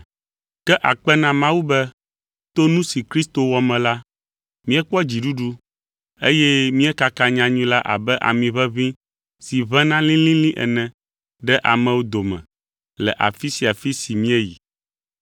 Ke akpe na Mawu be to nu si Kristo wɔ me la, míekpɔ dziɖuɖu eye míekaka nyanyui la abe ami ʋeʋĩ si ʋẽna lĩlĩlĩ ene ɖe amewo dome le afi sia afi si míeyi.